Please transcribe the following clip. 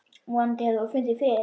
Vonandi hefur þú fundið frið.